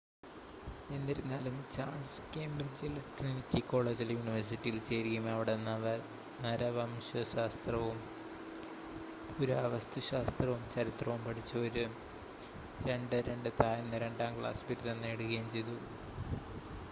എന്നിരുന്നാലും ചാൾസ് കേംബ്രിഡ്ജിലെ ട്രിനിറ്റി കോളേജിലെ യൂണിവേഴ്സിറ്റിയിൽ ചേരുകയും അവിടെ നരവംശശാസ്ത്രവും പുരാവസ്തുശാസ്ത്രവും ചരിത്രവും പഠിച്ച് ഒരു 2:2 താഴ്ന്ന രണ്ടാം ക്ലാസ് ബിരുദം നേടുകയും ചെയ്തു